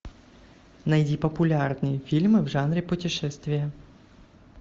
найди популярные фильмы в жанре путешествия